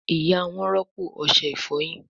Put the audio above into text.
ìyá wón rọpo Ọṣẹ ìfọyín.